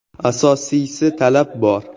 “Asosiysi, talab bor.